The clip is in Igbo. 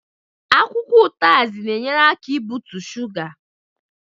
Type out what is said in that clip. Akwụkwọ utazi na enyere aka ị bụtụ shuga